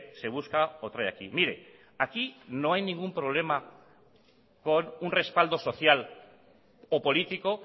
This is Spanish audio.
se busca o trae aquí mire aquí no hay ningún problema con un respaldo social o político